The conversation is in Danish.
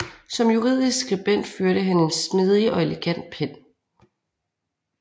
Som juridisk skribent førte han en smidig og elegant pen